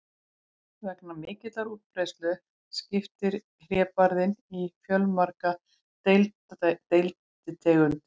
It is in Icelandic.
Vegna mikillar útbreiðslu skiptist hlébarðinn í fjölmargar deilitegundir.